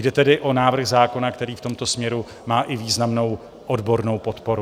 Jde tedy o návrh zákona, který v tomto směru má i významnou odbornou podporu.